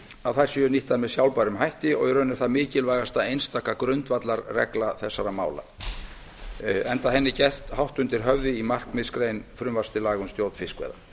að þær séu nýttar með sjálfbærum hætti í raun er það mikilvægasta einstaka grundvallarregla þessara mála enda henni gert hátt undir höfði í markmiðsgrein frumvarps til laga um stjórn fiskveiða